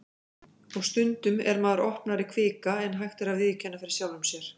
Og stundum er maður opnari kvika en hægt er að viðurkenna fyrir sjálfum sér.